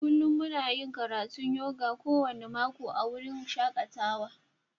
Kullum muna yin karatun yoga kowane mako a wurin shakatawa.